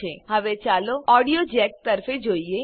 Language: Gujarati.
હવે ચાલો ઓડીયો જેક તરફે જોઈએ